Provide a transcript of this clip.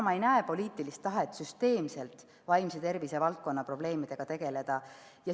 Ma ei näe poliitilist tahet süsteemselt vaimse tervise valdkonna probleemidega tegeleda.